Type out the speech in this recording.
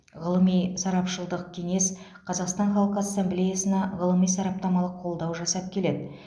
ғылыми сарапшылдық кеңес қазақстан халқы ассамблеясына ғылыми сараптамалық қолдау жасап келеді